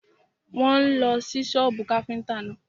Wọ́n ń lọ sí sọ́bù káfíntà náà.